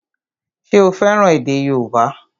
Ṣé o fẹ́ràn èdè yóòbá?